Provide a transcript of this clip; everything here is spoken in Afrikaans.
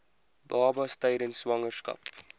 babas tydens swangerskap